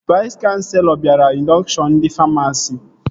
Vais kanselọ bịara indọkshọn ndị famasi